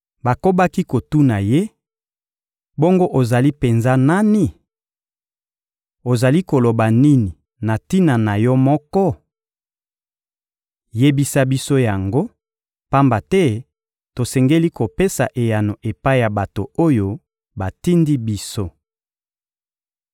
Bakobaki kotuna ye: — Bongo ozali penza nani? Ozali koloba nini na tina na yo moko? Yebisa biso yango, pamba te tosengeli kopesa eyano epai ya bato oyo batindi biso.